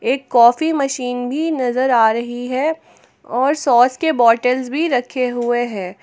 एक coffee machine भी नजर आ रही है और सॉस के बॉटल्स भी रखे हुए हैं।